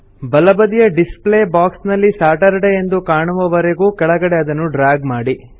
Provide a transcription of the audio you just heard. ಬಲಬದಿಯ display box ನಲ್ಲಿ Saturday ಎಂದು ಕಾಣುವವರೆಗೊ ಕೆಳಗಡೆಗೆ ಅದನ್ನು ಡ್ರ್ಯಾಗ್ ಮಾಡಿ